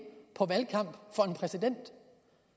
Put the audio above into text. på valgkamp for en præsident